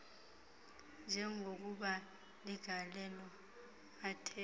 njengokuba ligalelo athe